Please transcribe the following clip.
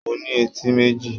Mo ní etí méjì.